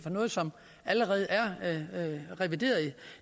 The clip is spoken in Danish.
af noget som allerede er revideret